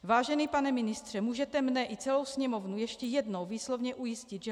Vážený pane ministře, můžete mně i celou Sněmovnu ještě jednou výslovně ujistit, že